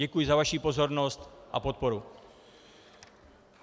Děkuji za vaši pozornost a podporu.